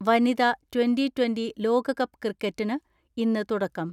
വനിത twenty twenty ലോകകപ്പ് ക്രിക്കറ്റിന് ഇന്ന് തുടക്കം.